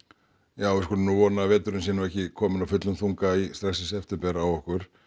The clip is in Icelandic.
já við skulum nú vona að veturinn sé ekki kominn af fullum þunga strax í september á okkur